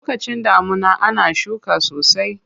Lokacin damuna ana shuka sosai.